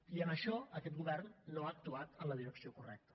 i en això aquest govern no ha actuat en la direcció correcta